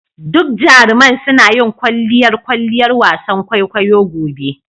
Duk jaruman suna yin kwalliyar kwalliyar wasan kwaikwayo gobe.